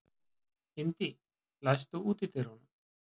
Indí, læstu útidyrunum.